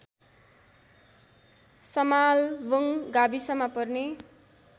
समालवुङ गाविसमा पर्ने